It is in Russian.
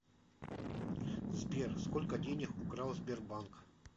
сбер сколько денег украл сбербанк